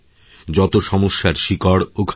যতো সমস্যার শিকড় ওখানেই